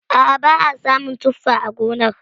A'a ba a samun tuffa a gonar.